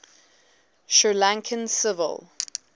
sri lankan civil